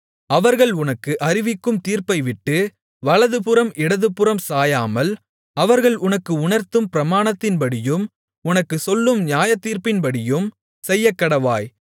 அவர்கள் உனக்கு அறிவிக்கும் தீர்ப்பைவிட்டு வலதுபுறம் இடதுபுறம் சாயாமல் அவர்கள் உனக்கு உணர்த்தும் பிரமாணத்தின்படியும் உனக்குச் சொல்லும் நியாயத்தீர்ப்பின்படியும் செய்யக்கடவாய்